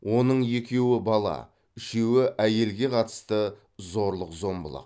оның екеуі бала үшеуі әйелге қатысты зорлық зомбылық